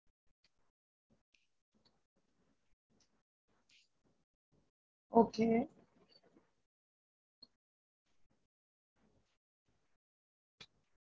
நீங்க non veg arrange பண்ணிகுடுத்திங்கனா போதும் breakfast ம் lunch ம் veg இருக்கட்டும் so இது ரெண்டுத்துல எது best னு உங்களோட opinion என்னனு சொல்றீங்களா because நான் கொஞ்சம் confused ஆ இருக்கேன்.